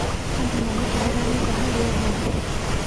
Andũ maratũmĩra nenda harĩ ũhoro.